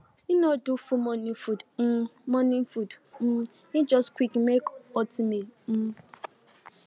e no do full morning food um morning food um e just quickly make oatmeal um